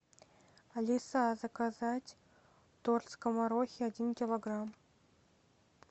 алиса заказать торт скоморохи один килограмм